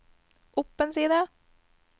opp en side